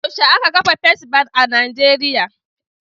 Yaushe aka kafa Fes Bank a Nijeriya.